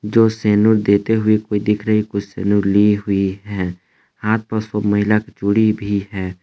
जो सेनूर देते हुए कोई दिख रही कोई सेनूर ली हुई है। हाथ प सब महिला के चूड़ी भी है।